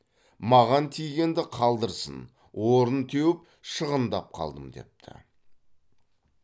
маған тигенді қалдырсын орын теуіп шығындап қалдым депті